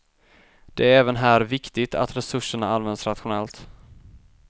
Det är även här viktigt att resurserna används rationellt.